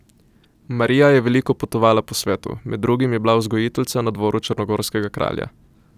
Marija je veliko potovala po svetu, med drugim je bila vzgojiteljica na dvoru črnogorskega kralja.